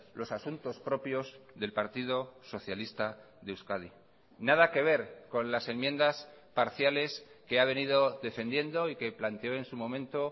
los asuntos propios del partido socialista de euskadi nada que ver con las enmiendas parciales que ha venido defendiendo y que planteó en su momento